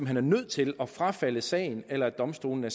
hen er nødt til at frafalde sagen eller at domstolene